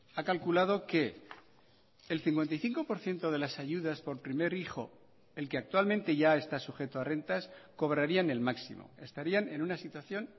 ha calculado que el cincuenta y cinco por ciento de las ayudas por primer hijo el que actualmente ya está sujeto a rentas cobrarían el máximo estarían en una situación